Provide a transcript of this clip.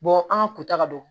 an ka kutaka don